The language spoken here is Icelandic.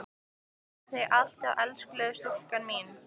Ég þrái þig alt af elskulega stúlkan mín.